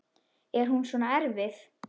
Er hún svona erfið?